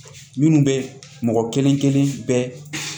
Minnu bɛ mɔgɔ kelen kelen bɛɛ